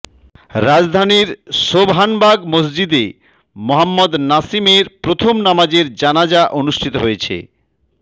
রাজধানীর সোবহানবাগ মসজিদে মোহাম্মদ নাসিমের প্রথম নামাজে জানাজা অনুষ্ঠিত হয়েছে